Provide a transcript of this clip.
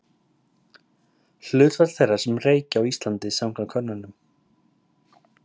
Hlutfall þeirra sem reykja á Íslandi samkvæmt könnunum.